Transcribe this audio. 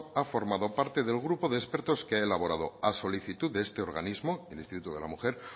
ha formado parte del grupo de expertos que ha elaborado a solicitud de este organismo el instituto de la mujer